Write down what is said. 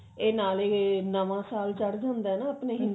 ਇਹ ਨਾਲ ਇਹ ਨਵਾਂ ਸਾਲ ਚੜ ਜਾਂਦਾ ਨਾ ਆਪਣੇ